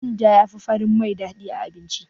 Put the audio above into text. Manja yafi farin mai daɗi a abinci.